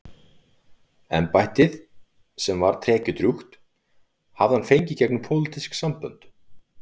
Embættið, sem var tekjudrjúgt, hafði hann fengið gegnum pólitísk sambönd.